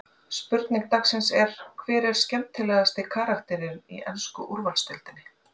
Spurning dagsins er: Hver er skemmtilegasti karakterinn í ensku úrvalsdeildinni?